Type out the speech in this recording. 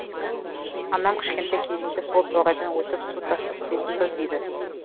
анам кішкентай кезінде сол тоғайдан өтіп су таситынбыз дейді